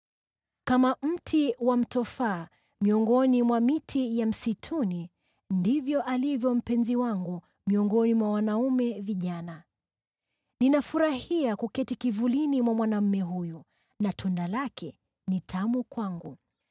Kama mti wa mtofaa miongoni mwa miti ya msituni ndivyo alivyo mpenzi wangu miongoni mwa wanaume vijana. Ninafurahia kuketi kivulini mwa mwanaume huyu, na tunda lake ni tamu kwangu.